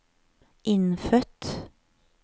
innfødt